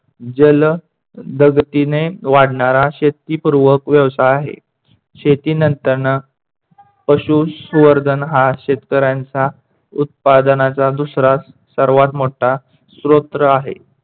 जल दगतीने वाढणारा शेतीपूर्वक व्यवसाय आहे. शेती नंतरन पशुसुवर्धन हा शेतकऱ्यांचा उत्पादनाचा दुसरा सर्वात मोठा स्‍तोत्र आहे.